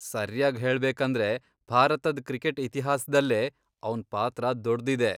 ಸರ್ಯಾಗ್ ಹೇಳ್ಬೇಕಂದ್ರೆ, ಭಾರತದ್ ಕ್ರಿಕೆಟ್ ಇತಿಹಾಸ್ದಲ್ಲೇ ಅವ್ನ್ ಪಾತ್ರ ದೊಡ್ದಿದೆ.